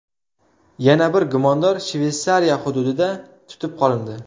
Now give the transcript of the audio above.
Yana bir gumondor Shveysariya hududida tutib qolindi.